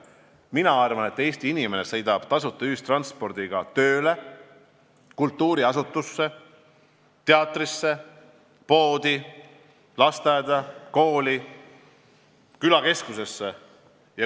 Mina arvan, et Eesti inimene sõidab tasuta ühistranspordiga tööle, kultuuriasutusse, teatrisse, poodi, lasteaeda, kooli, külakeskusesse.